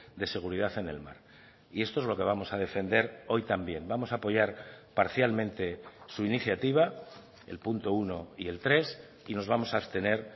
de seguridad en el mar y esto es lo que vamos a defender hoy también vamos a apoyar parcialmente su iniciativa el punto uno y el tres y nos vamos a abstener